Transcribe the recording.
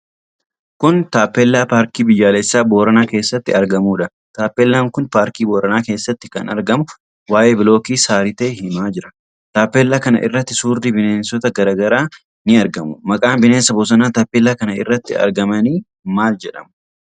Kun Taappellaa paarkii biyyaalessaa Booranaa keessatti argamudha. Taappellaan kun paarkii Booranaa keessatti kan argamu, waa'ee bilookii Saaritee himaa jira. Taappellaa kana irratti suurri bineensota garaa garaa ni argamu. Maqaan bineensota bosonaa taappellaa kana irratti argamanii maal jedhamu?